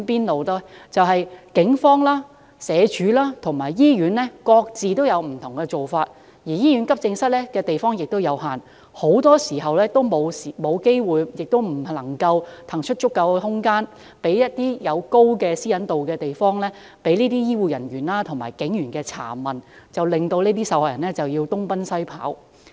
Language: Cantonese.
由於警方、社會福利署及醫院各有不同做法，而醫院急症室地方亦有限，很多時均沒有機會和不能騰出足夠空間，讓受害人在高私隱度的環境下接受醫護人員和警員的查問，受害人亦因而要東奔西跑。